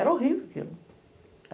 Era horrível aquilo.